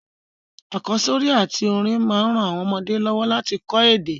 Àkósórí àtí orin ma n ran àwon ọmọdé lọ́wọ́ láti ko èdè